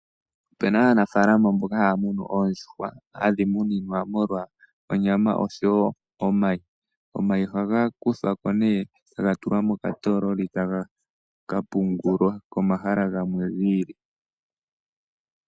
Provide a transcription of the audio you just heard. Opu na aanafaalama mboka haya munu oondjuhwa . Ohadhi muninwa molwa onyama oshowo omayi. Omayi ohaga kuthwa po, e taga tulwa mokatoololi e taka pungulwa komahala gamwe gi ili.